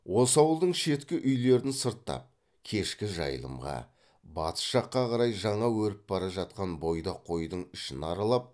осы ауылдың шеткі үйлерін сырттап кешкі жайылымға батыс жаққа қарай жаңа өріп бара жатқан бойдақ қойдың ішін аралап